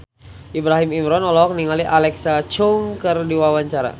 Ibrahim Imran olohok ningali Alexa Chung keur diwawancara